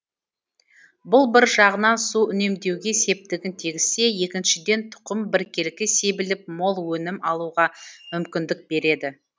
бұл бір жағынан су үнемдеуге септігін тигізсе екіншіден тұқым біркелкі себіліп мол өнім алуға мүмкіндік береді